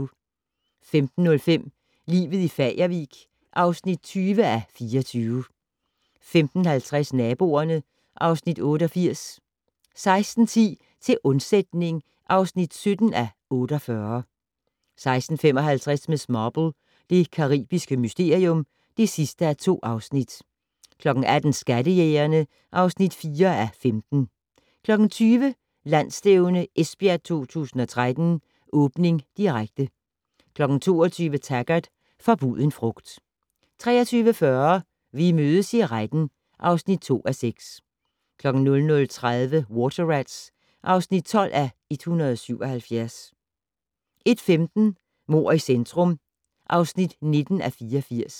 15:05: Livet i Fagervik (20:24) 15:50: Naboerne (Afs. 88) 16:10: Til undsætning (17:48) 16:55: Miss Marple: Det caribiske mysterium (2:2) 18:00: Skattejægerne (4:15) 20:00: Landsstævne Esbjerg 2013: Åbning, direkte 22:00: Taggart: Forbuden frugt 23:40: Vi mødes i retten (2:6) 00:30: Water Rats (12:177) 01:15: Mord i centrum (19:84)